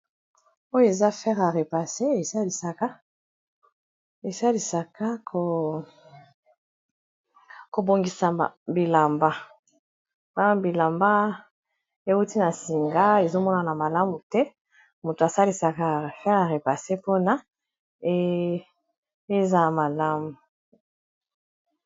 oyo eza fere a repassé zesalisaka kobongisa bilamba mpona bilamba euti na singa ezomonana malamu te moto asalisaka fere ya repase mpona eza a malamu